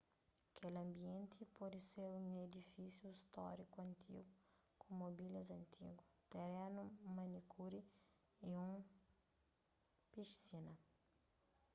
kel ambienti poder ser un edifísiu stóriku antigu ku mobilias antigu terenu manikuri y un pisina